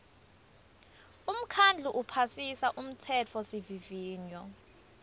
umkhandlu uphasisa umtsetfosivivinyo